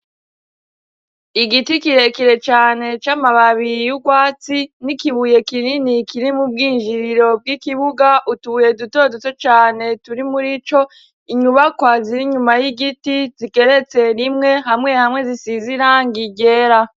Igiti kirekire cane, c'amababi y'urwatsi n'ikibuye kinini kiri mu bwinjiriro bw'ikibuga, utubuye dutoduto cane turi muri ico, inyubakwa ziri inyuma y'igiti zigeretse rimwe, hamwe hamwe zisize irangi ryera.